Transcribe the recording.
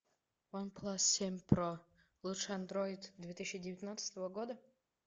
ван плас семь про лучший андроид две тысячи девятнадцатого года